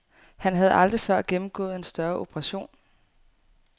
Han havde aldrig før gennemgået en større operation.